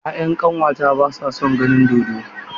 Ya'yan ƙanwata ba sa son ganin dodo.